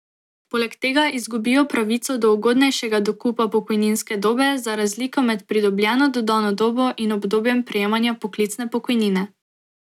Poleg tega izgubijo pravico do ugodnejšega dokupa pokojninske dobe za razliko med pridobljeno dodano dobo in obdobjem prejemanja poklicne pokojnine.